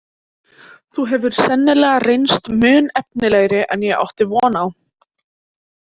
Þú hefur sannarlega reynst mun efnilegri en ég átti von á.